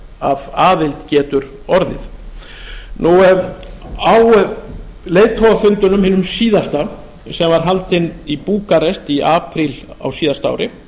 af aðild getur orðið á leiðtogafundinum hinum síðasta sem var haldinn í búkarest í apríl á síðasta ári